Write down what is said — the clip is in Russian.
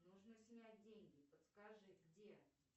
нужно снять деньги подскажи где